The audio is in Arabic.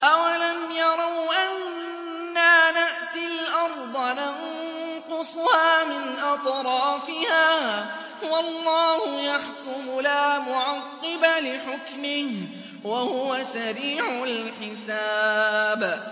أَوَلَمْ يَرَوْا أَنَّا نَأْتِي الْأَرْضَ نَنقُصُهَا مِنْ أَطْرَافِهَا ۚ وَاللَّهُ يَحْكُمُ لَا مُعَقِّبَ لِحُكْمِهِ ۚ وَهُوَ سَرِيعُ الْحِسَابِ